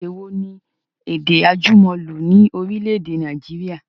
Èdè wo ni èdè àjùmọ̀lò ni orílẹ̀èdè Nàìjíríà?